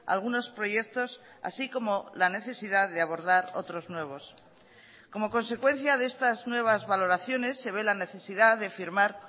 algunos proyectos así como la necesidad de abordar otros nuevos como consecuencia de estas nuevas valoraciones se ve la necesidad de firmar